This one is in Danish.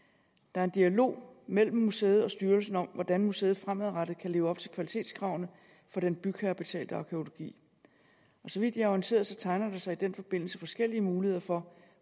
er en dialog mellem museet og styrelsen om hvordan museet fremadrettet kan leve op til kvalitetskravene for den bygherrebetalte arkæologi så vidt jeg er orienteret tegner der sig i den forbindelse forskellige muligheder for